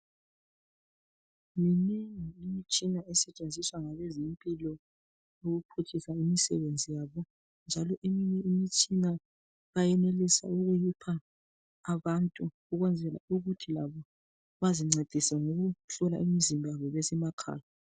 Yimitshina esetshenziswa ngabezempilo ukuphutshisa imisebenzi yabo njalo eminye imitshina bayenelisa ukuyipha abantu ukwenzela ukuthi labo bazincedise ngokuhlola imizimba yabo besemakhaya.